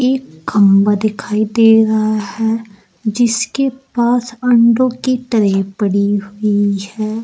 खंभा दिखाई दे रहा है जिसके पास अंडों की ट्रे पड़ी हुई है।